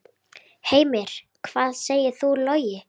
Heimir: Hvað segir þú, Logi?